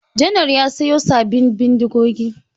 Janar ya sayo sabin bindigogi.